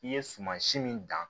I ye sumansi min dan